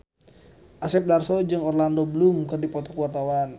Asep Darso jeung Orlando Bloom keur dipoto ku wartawan